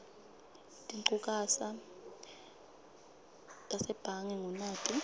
tinchukaca tasebhange ngunati